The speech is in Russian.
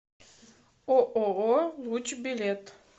ооо луч билет